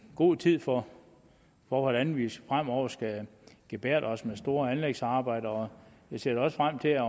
god tid for hvordan vi fremover skal gebærde os med store anlægsarbejder vi ser frem til at